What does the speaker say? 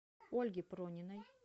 ольге прониной